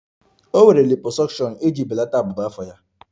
O nwere liposuction iji belata abụba afọ ya